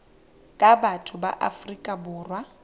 ka batho ba afrika borwa